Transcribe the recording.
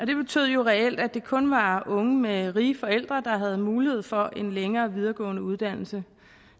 jo reelt at det kun var unge med rige forældre der havde mulighed for en længere videregående uddannelse